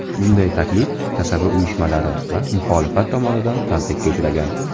Bunday taklif kasaba uyushmalari va muxolifat tomonidan tanqidga uchragan.